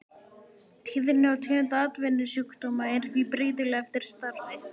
Tíðni og tegund atvinnusjúkdóma er því breytileg eftir starfi.